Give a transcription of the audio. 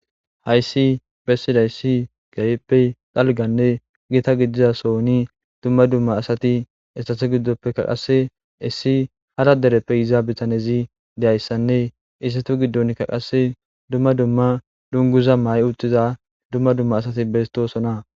Hayssi bessiday si gayeppe dalganne gita gidizasoni dumma dumma asati essate giddoppekka qasse issi hada dereppe izaabitanezi deyayssanne issetu giddonkka qasse dumma dumma dunguza may uxiza dumma dumma asati bestosona.